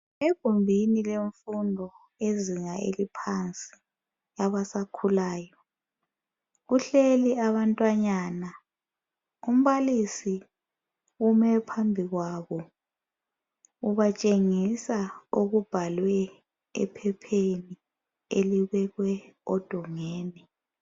Egumbini lemfundo yezinga eliphansi labasakhulayo kuhleli abantwanyana. Umbalisi ume phambikwabo ubatshengisa okubhalwe ephepheni elibekwe odongeni.